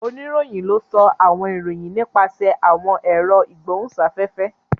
Onirohin ló sọ àwọn ìròyìn nípasẹ awọn èro igbohunsafefe.